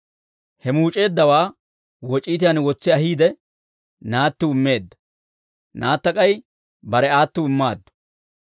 He muuc'eeddawaa woc'iitiyaan wotsi ahiide, naattiw immeedda; naatta k'ay bare aattiw immaaddu.